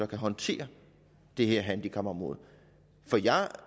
kan håndtere det her handicapområde for jeg